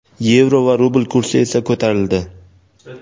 Yevro va rubl kursi esa ko‘tarildi.